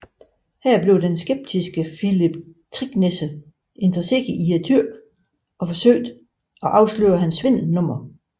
Her blev den skeptiske Philip Thicknesse interesseret i tyrken og forsøgte at afsløre svindelnummeret